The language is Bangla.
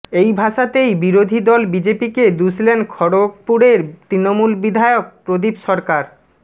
এই ভাষাতেই বিরোধী দল বিজেপিকে দুষলেন খড়গপুরের তৃণমূল বিধায়ক প্রদীপ সরকার